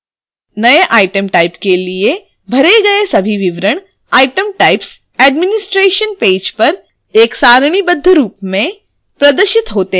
all item type के लिए भरे all सभी विवरण item types administration पेज पर एक सारणीबद्ध रूप में प्रदर्शित होते हैं